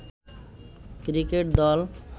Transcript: cricket দল